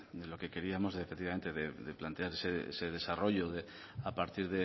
de lo que queríamos de plantearse ese desarrollo de a partir